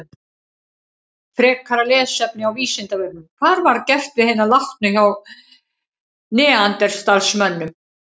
Frekara lesefni á Vísindavefnum: Hvað var gert við hina látnu hjá neanderdalsmönnum?